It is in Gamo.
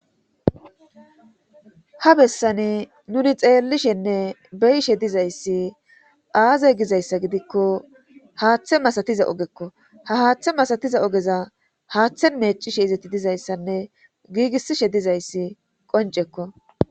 Ha bessani nuni xeellishenne beyishe dizayssi aaze gizayssa gidikko haaththe masatiza ogekko ha haaththe masatiza ogeza haaththe neeccishe izeti dizayssanne giigissishe dizayssi qoncekko.